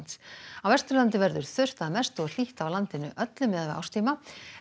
á Vesturlandi verður þurrt að mestu og hlýtt á landinu öllu miðað við árstíma